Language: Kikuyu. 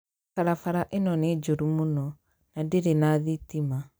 Barabara ĩno nĩ njũru mũno. Na ndere na thitima.